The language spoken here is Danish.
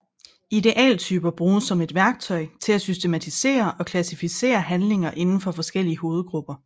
Idealtyper bruges som et værktøj til at systematisere og klassificere handlinger inden for forskellige hovedgrupper